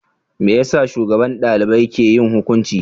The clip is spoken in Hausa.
Me yasa shugaban dalibai ke yin hukunci?